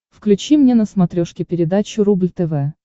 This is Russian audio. включи мне на смотрешке передачу рубль тв